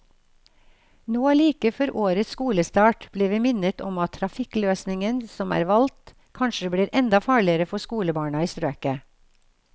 Nå like før årets skolestart, blir vi minnet om at trafikkløsningen som er valgt kanskje blir enda farligere for skolebarna i strøket.